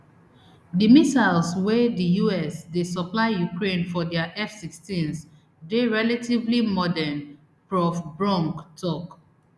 di missiles wey di us dey supply ukraine for dia fsixteens dey relatively modern prof bronk tok